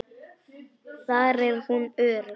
Þar er hún örugg.